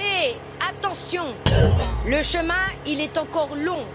Mais, attention le chemin est encore long.